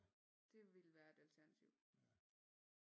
Det ville være et alternativ